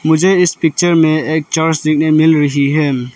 मुझे इस पिक्चर में एक चर्च देखने मिल रही है।